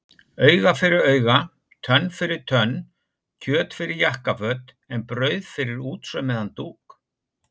Auga fyrir auga, tönn fyrir tönn, kjöt fyrir jakkaföt en brauð fyrir útsaumaðan dúk.